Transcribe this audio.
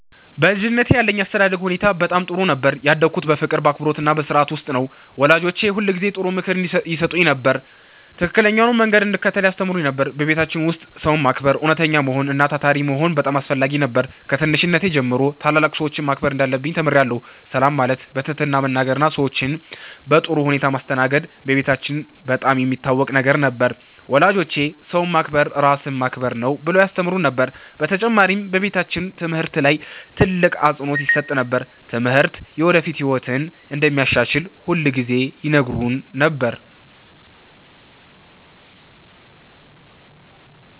በልጅነቴ ያለኝ የአስተዳደግ ሁኔታ በጣም ጥሩ ነበር። ያደግሁት በፍቅር፣ በአክብሮትና በሥርዓት ውስጥ ነው። ወላጆቼ ሁልጊዜ ጥሩ ምክር ይሰጡኝ ነበር፣ ትክክለኛውንም መንገድ እንድከተል ያስተምሩኝ ነበር። በቤታችን ውስጥ ሰውን ማክበር፣ እውነተኛ መሆን እና ታታሪ መሆን በጣም አስፈላጊ ነበር። ከትንሽነቴ ጀምሮ ታላላቅ ሰዎችን ማክበር እንዳለብኝ ተምሬአለሁ። ሰላም ማለት፣ በትህትና መናገር እና ሰዎችን በጥሩ ሁኔታ ማስተናገድ በቤታችን በጣም የሚታወቅ ነገር ነበር። ወላጆቼ “ሰውን ማክበር ራስን ማክበር ነው” ብለው ያስተምሩን ነበር። በተጨማሪም በቤታችን ትምህርት ላይ ትልቅ አፅንዖት ይሰጥ ነበር። ትምህርት የወደፊት ህይወትን እንደሚያሻሽል ሁልጊዜ ይነግሩን ነበር።